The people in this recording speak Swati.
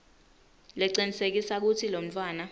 lecinisekisa kutsi lomntfwana